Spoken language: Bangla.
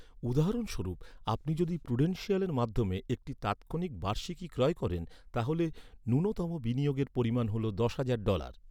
উদাহরণস্বরূপ, আপনি যদি প্রুডেনশিয়ালের মাধ্যমে একটি তাৎক্ষণিক বার্ষিকী ক্রয় করেন, তাহলে ন্যূনতম বিনিয়োগের পরিমাণ হল দশ হাজার ডলার ৷